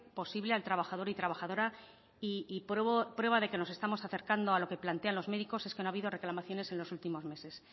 posible al trabajador y trabajadora y prueba de que nos estamos acercando a lo que plantean los médicos es que no ha habido reclamaciones en los últimos meses